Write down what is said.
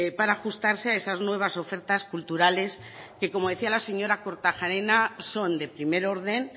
para ajustarse a esas nuevas ofertas culturales que como decía la señor kortajarena son de primer orden